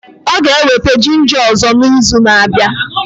Ọ ga-eweta ginja ọzọ na izu na abịa